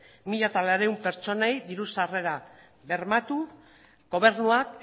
mila laurehun pertsonei diru sarrera bermatu gobernuak